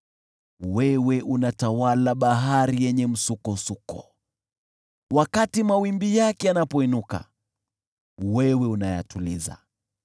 Wewe unatawala bahari yenye msukosuko; wakati mawimbi yake yanapoinuka, wewe unayatuliza.